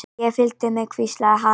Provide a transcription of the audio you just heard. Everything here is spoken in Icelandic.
Ég fylgist með, hvíslaði hann.